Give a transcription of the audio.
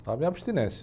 Estava em abstinência.